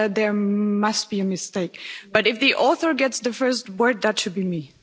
There must be a mistake, but if the author gets the first word that should be me.